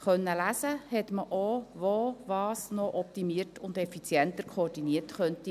Man konnte auch lesen, wo was noch optimiert und effizienter koordiniert werden könnte.